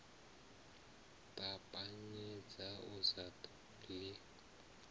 ṱapanyedza u sa ḓo ḽi